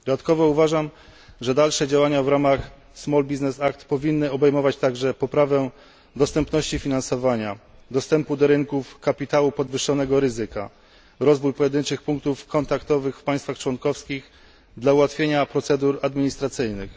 Dodatkowo uważam, że dalsze działania w ramach Small Business Act powinny obejmować także poprawę dostępności finansowania, dostępu do rynków kapitału podwyższonego ryzyka, rozwój pojedynczych punktów kontaktowych w państwach członkowskich dla ułatwienia procedur administracyjnych.